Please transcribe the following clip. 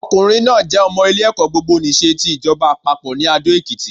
Ọkùnrin náà jé ọmọ ilé ẹ̀kọ́ gbogbo nìse ti ìjọba àpapọ̀ ní Adó Èkìtì